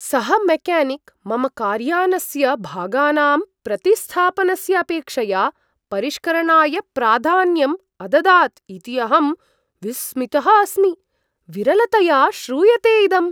सः मेक्यानिक् मम कार्यानस्य भागानां प्रतिस्थापनस्य अपेक्षया परिष्करणाय प्राधान्यम् अददात् इति अहं विस्मितः अस्मि, विरलतया श्रूयते इदम्।